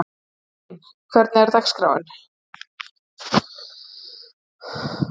Jósefín, hvernig er dagskráin?